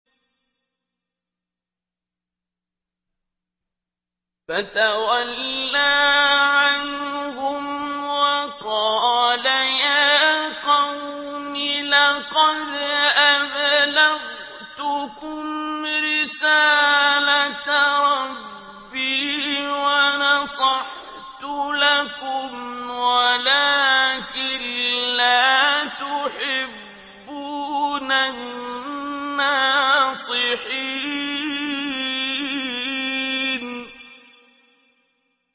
فَتَوَلَّىٰ عَنْهُمْ وَقَالَ يَا قَوْمِ لَقَدْ أَبْلَغْتُكُمْ رِسَالَةَ رَبِّي وَنَصَحْتُ لَكُمْ وَلَٰكِن لَّا تُحِبُّونَ النَّاصِحِينَ